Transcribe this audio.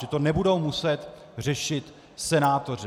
Že to nebudou muset řešit senátoři.